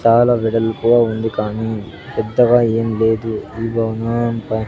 చాలా వెడల్పుగా ఉంది కానీ పెద్దగా ఏం లేదు .